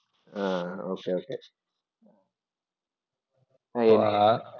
ah okay, okay